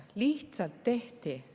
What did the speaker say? Lihtsalt tehti nii.